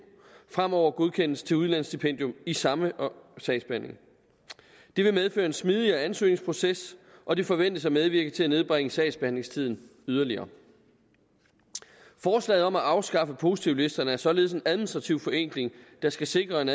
fremover godkendes til udlandsstipendium i samme sagsbehandling det vil medføre en smidigere ansøgningsproces og det forventes at medvirke til at nedbringe sagsbehandlingstiden yderligere forslaget om at afskaffe positivlisterne er således en administrativ forenkling der skal sikre en